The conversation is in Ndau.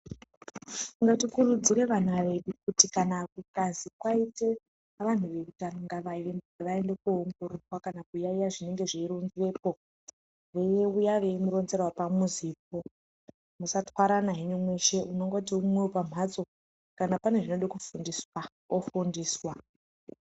Ngatikurudzire vana vedu kuti kana kukazi kwaita vaende koongororwa kana kuyaiya zvinenge zveiitweyo veiuya veimuronzera pamuzipo musatwarana henyu mongoti imwe wepamhatso kanapane zvoda kufundiswa ofundiswa.